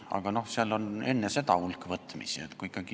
Aga enne seda on olnud hulk võtmisi.